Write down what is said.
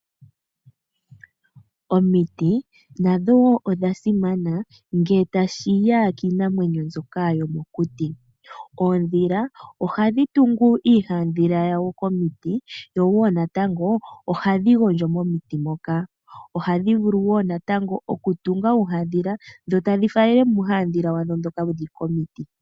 Omiti nadho odha simana ngele tashiya kiinamwenyo yomokuti. oondhila ohadhi tungu iihandhila yawo komiti yowo natango ohadhi gondjo momiti moka . Ohadhi vulu wo natango oku tunga uuhadhila dhavaalele muuhadhila wawo mboka.